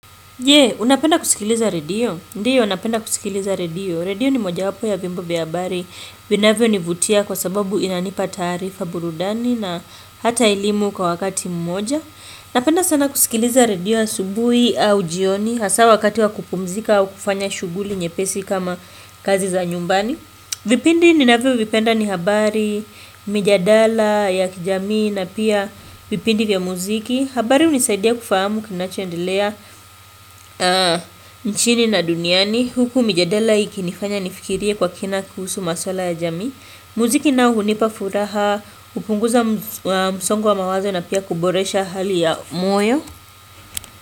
Unapenda kusikiliza redio? Ndiyo napenda kusikiliza redio. Redio ni moja wapo ya vyombo vya habari. Vinavyo ni vutia kwa sababu inanipa taarifa burudani na hata elimu kwa wakati mmoja. Napenda sana kusikiliza redio asubuhi au jioni. Hasa wakati wa kupumzika au kufanya shughuli nye pesi kama kazi za nyumbani. Vipindi ninavyo vipenda ni habari, mijadala, ya kijamii na pia vipindi vya muziki. Habari hunisaidia kufahamu kina choendelea nchini na duniani Huku mijadala ikinifanya nifikirie kwa kina kuhusu maswala ya jamii Muziki naohunipa furaha hupunguza msongo wa mawazo na pia kuboresha hali ya moyo.